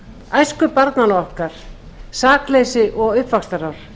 æsku barnanna okkar sakleysi og uppvaxtarár